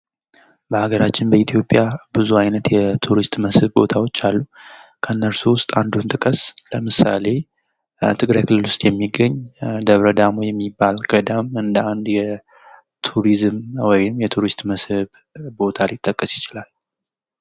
በአገራችን በኢትዮጵያ ብዙ ዓይነት የቱሪስት መስህብ ቦታዎች አሉ። ከእነርሱም ውስጥ አንዱን ጥቀስ። ለምሳሌ ትግራይ ክልል ውስጥ የሚገኝ ደብረ ዳሞ የሚባል ገዳም እንደ አንድ ቱሪዝም ወይም የቱሪስት መስህብ ቦታ ሊጠቀስ ይችላል።